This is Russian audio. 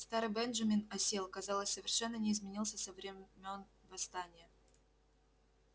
старый бенджамин осел казалось совершенно не изменился со времён восстания